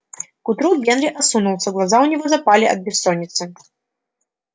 к утру генри осунулся глаза у него запали от бессонницы